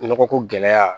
Nɔgɔ ko gɛlɛya